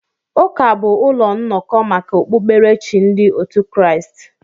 Ụka bụ ụlọ nnọkọ maka okpukpere chi ndị otu Kraịst.